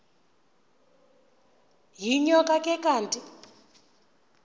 yinyoka le kanti